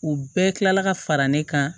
U bɛɛ kila la ka fara ne kan